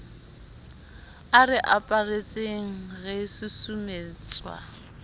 a re aparetseng re susumetswa